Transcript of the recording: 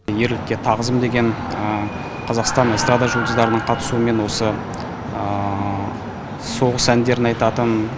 ерлікке тағзым деген қазақстан эстрада жұлдыздарының қатысуымен осы соғыс әндерін айтатын